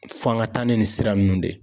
F'an ka taa ni nin sira ninnu de ye.